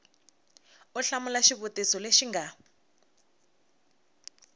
u hlamula xivutiso lexi nga